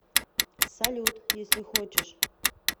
салют если хочешь